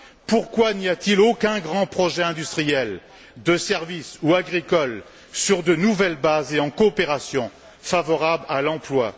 Pourquoi n'y a t il aucun grand projet industriel, de services ou agricole, sur de nouvelles bases et en coopération, favorable à l'emploi?